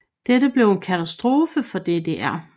Dette blev en katastrofe for DDR